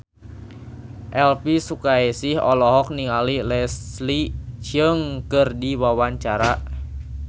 Elvy Sukaesih olohok ningali Leslie Cheung keur diwawancara